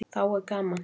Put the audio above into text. Þá er gaman.